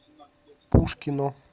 пушкино